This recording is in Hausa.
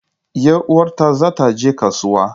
Yar uwata za ta je kasuwa.